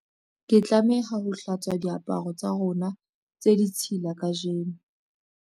Ke tlameha ho hlatswa diaparo tsa rona tse ditshila kajeno.